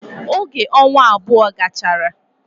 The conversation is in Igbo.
Oge onwa abou gachara